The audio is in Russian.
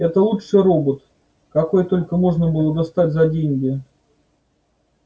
это лучший робот какой только можно было достать за деньги